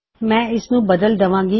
ਮੈਂ ਇਸਨੂੰ ਬਦਲ ਦਵਾਂਗੀ